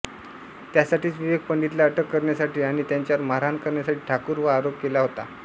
त्यासाठीच विवेक पंडितला अटक करण्यासाठी आणि त्यांच्यावर मारहाण करण्यासाठी ठाकूर वर आरोप केला होता